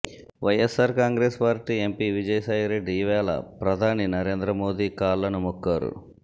YSR Congress party MP Vijayasai Reddy ఇవాళ ప్రధాని నరేంద్ర మోదీ కాళ్లను మొక్కారు